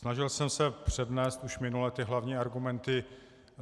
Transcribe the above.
Snažil jsem se přednést už minule ty hlavní argumenty.